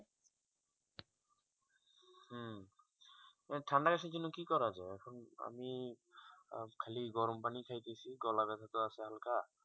ঠান্ডা কাশির জন্য কি করা যাই এখন আমি খালি গরম পানিখাইতাছি গলা ব্যাথা টো আছে তো হালকা